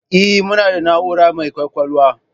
Eh, muna da na'ura mai kwakwalwa